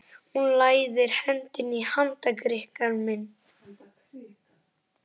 Hún læðir hendinni í handarkrika minn.